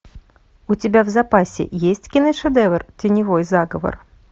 у тебя в запасе есть киношедевр теневой заговор